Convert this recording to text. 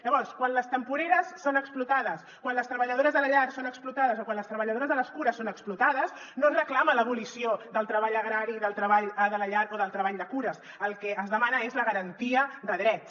llavors quan les temporeres són explotades quan les treballadores de la llar són explotades o quan les treballadores de les cures són explotades no es reclama l’abolició del treball agrari i del treball de la llar o del treball de cures el que es demana és la garantia de drets